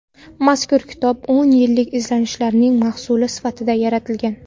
Mazkur kitob o‘n yillik izlanishlarning mahsuli sifatida yaratilgan.